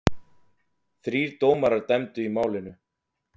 Þrír dómarar dæmdu í málinu.